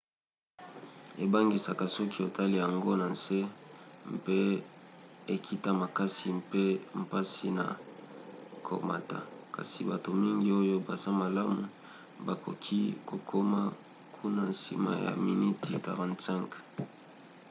ebangisaka soki otali yango na nse mpe ekita makasi mpe mpasi na komata kasi bato mingi oyo baza malamu bakoki kokoma kuna nsima ya miniti 45